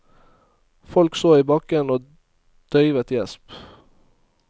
Folk så i bakken og døyvet gjesp.